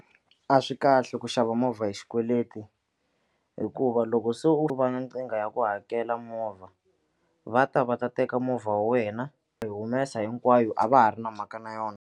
A swi kahle ku xava movha hi xikweleti hikuva loko se u ri va na nkingha ya ku hakela movha va ta va ta teka movha wa wena u yi humesa hinkwayo a va ha ri na mhaka na yona.